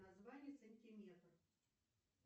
название сантиметр